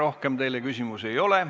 Rohkem teile küsimusi ei ole.